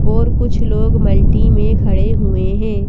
और कुछ लोग मल्टी में खड़े हुए हैं।